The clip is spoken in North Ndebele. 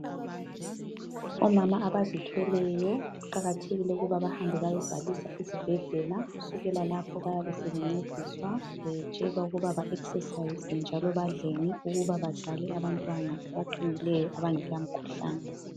Omama abazithweleyo kuqakathekile ukuthi bahambe bayebhalisa ezibhedlela. Kusukela lapho bayabesebencediswa betshelwa ukuba ba exercise njalo badleni ukuba bazale abantwana abaqinileyo abangela mkhuhlane.